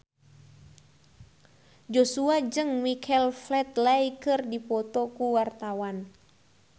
Joshua jeung Michael Flatley keur dipoto ku wartawan